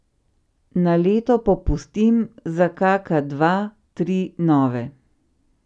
Na leto popustim za kaka dva, tri nove.